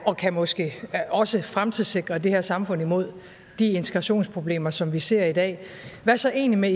og kan måske også fremtidssikre det her samfund mod de integrationsproblemer som vi ser i dag hvad så egentlig med